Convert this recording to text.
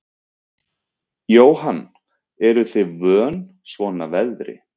Jóhann: Eruð þið vön svona veðri?